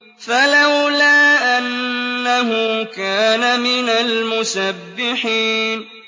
فَلَوْلَا أَنَّهُ كَانَ مِنَ الْمُسَبِّحِينَ